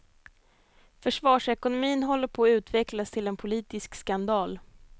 Försvarsekonomin håller på att utvecklas till en politisk skandal.